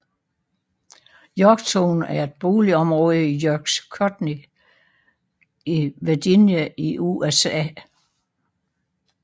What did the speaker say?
Yorktown er et boligområde i York County i Virginia i USA